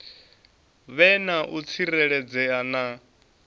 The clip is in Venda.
vhe na u tsireledzea na